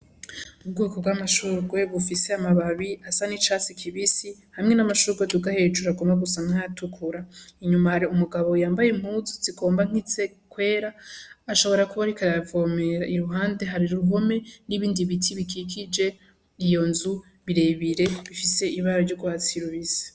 Ubwoko bwa mashurwe bufise amababi asa n'icatsi kibisi hamwe n'amashurwe aduga hejuru agomba gusa n'ayatukura, Inyuma hari umugabo yambaye impuzu zigomba kwera ashobora kuba ariko aravomera iruhande hari uruhome n'ibindi biti bikikije iyonzu birerebire bifise ibara ry'urwatsi rubisi.